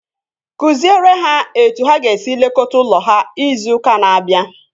Kụziere ha etu ha ga-esi lekọta ụlọ ha izu ụka na-abịa!